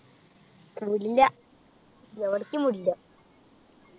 വിടില്ല എവിടേക്കും വിടില്ല